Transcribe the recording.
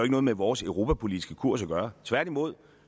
noget med vores europapolitiske kurs at gøre tværtimod